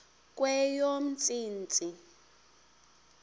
kweyomntsintsi